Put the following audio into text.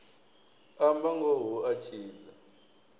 amba ngoho hu a tshidza